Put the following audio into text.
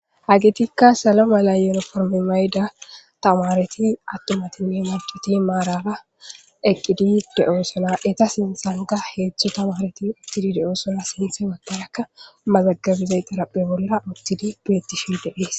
hagitikka salo mala yonoformi mayda tamareti attomatinne maduti maarara eqqidi de7oo sana eta sinsanga heetztho tamareti uttidi de7oosana sinte waggarakka mazagabizay qaraphe bolla uttidi beettishin debhees